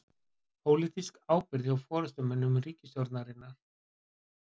Pólitísk ábyrgð hjá forystumönnum ríkisstjórnarinnar